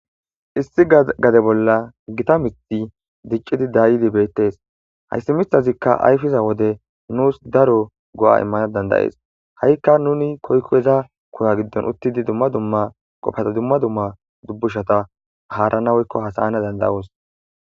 1 gade bolla Gita mith dicid dayid betes, hays mithazika ayfiza wode nus daro go'a imana danda'es,ha'ka nun koyko iza kuwa gidon utid dumma dumma dubushata haranaveoyko hasa'ana danda'os